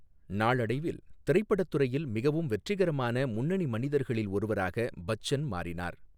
நாளடைவில், திரைப்படத் துறையில் மிகவும் வெற்றிகரமான முன்னணி மனிதர்களில் ஒருவராக பச்சன் மாறினார்.